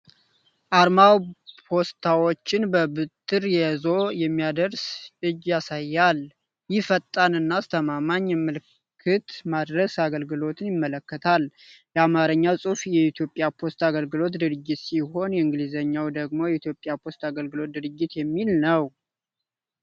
አርማው ፖስታዎችን በበትር ይዞ የሚያደርስ እጅ ያሳያል። ይህ ፈጣን እና አስተማማኝ የመልዕክት ማድረስ አገልግሎትን ያመለክታል። የአማርኛው ጽሑፍ "የኢትዮጵያ ፖስታ አገልግሎት ድርጅት" ሲሆን፣ የእንግሊዘኛው ደግሞ "የኢትዮጵያ ፖስታ አገልግሎት ድርጅት" የሚል ነው።